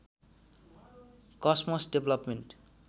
cosmos development